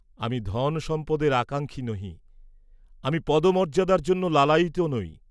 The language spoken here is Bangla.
আমি ধন সম্পদের আকাঙ্ক্ষী নহি, আমি পদমর্য্যাদার জন্যও লালায়িত নই।